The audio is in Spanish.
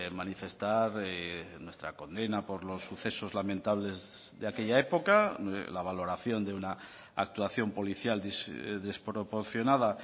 manifestar nuestra condena por los sucesos lamentables de aquella época la valoración de una actuación policial desproporcionada